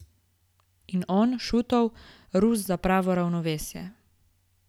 In on, Šutov, Rus za pravo ravnovesje.